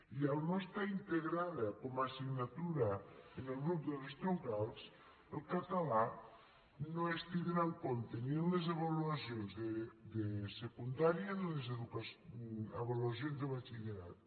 i al no estar integrada com a assignatura en el grup de les troncals el català no es tindrà en compte ni en les avaluacions de secundària ni en les avaluacions de batxillerat